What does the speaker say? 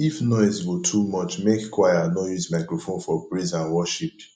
if noise go too much mek choir no use microphone for praise and worship